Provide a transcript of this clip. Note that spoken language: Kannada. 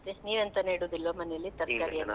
ಮತ್ತೆ ನೀವು ಎಂತ ನೆಡೋದಿಲ್ವಾ ಮನೆಯಲ್ಲಿ ತರಕಾರಿ ಎಲ್ಲ .